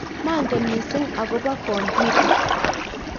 manget mising' akobo kompyuta